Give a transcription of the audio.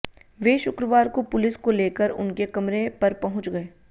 वे शुक्रवार को पुलिस को लेकर उनके कमरे पर पहुंच गए